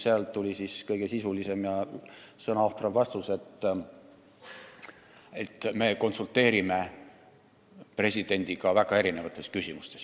Sealt tuli kõige "sisulisem ja sõnaohtram" vastus, et me konsulteerime presidendiga väga erinevates küsimustes.